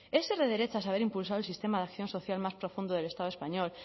es ser de derechas haber impulsado el sistema de acción social más profundo del estado español